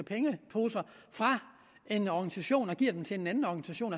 pengeposer fra en organisation og giver dem til en anden organisation